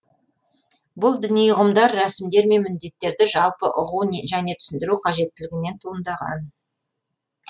бұл діни ұғымдар рәсімдер мен міндеттерді жалпы ұғу және түсіндіру қажеттілігінен туындаған